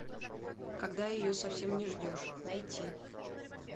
когда ее совсем не ждешь найти